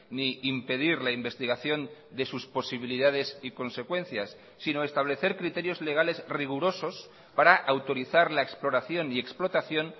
ni impedir la investigación de sus posibilidades y consecuencias sino establecer criterios legales rigurosos para autorizar la exploración y explotación